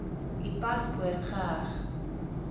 u paspoort geheg